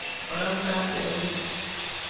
Ũrauga atĩa rĩngĩ.